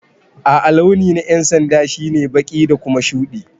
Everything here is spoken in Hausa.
A'a launi na yan'sanda shine baki da Kuma shude.